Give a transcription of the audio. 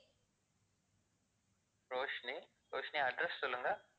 Roshni, Roshni address சொல்லுங்க?